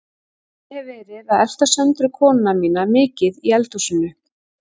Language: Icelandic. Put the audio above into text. Ég hef verið að elta Söndru konuna mína mikið í eldhúsinu.